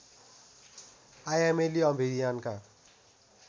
आयामेली अभियानका